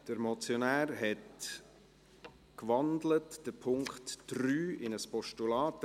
Der Motionär hat den Punkt 3 in ein Postulat gewandelt.